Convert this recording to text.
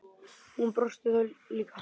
Hún brosti líka.